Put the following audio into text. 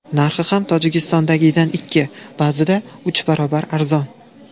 Narxi ham Tojikistondagidan ikki, ba’zida uch barobar arzon.